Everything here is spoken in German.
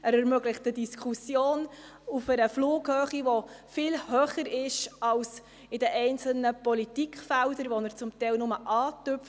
Er ermöglicht eine Diskussion auf einer Flughöhe, die viel höher ist, als dies in den einzelnen Politikfeldern der Fall ist, die er teilweise nur kurz berührt.